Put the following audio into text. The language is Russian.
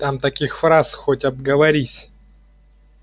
там таких фраз хоть обговорись